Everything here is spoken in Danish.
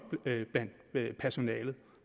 blandt personalet